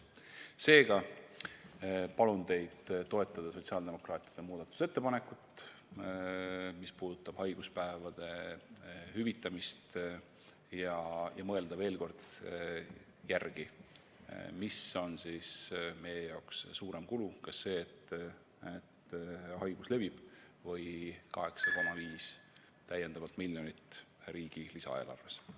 Seega palun teid toetada sotsiaaldemokraatide muudatusettepanekut, mis puudutab haiguspäevade hüvitamist, ja mõelda veel kord järele, mis on meie jaoks suurem kulu: kas see, et haigus levib, või 8,5 täiendavat miljonit riigi lisaeelarvest.